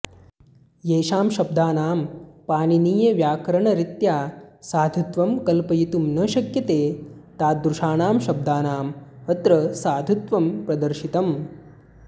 येषां शब्दानां पाणिनीयव्याकरणरीत्या साधुत्वं कल्पयितुं न शक्यते तादृशानां शब्दानाम् अत्र साधुत्वं प्रदर्शितम्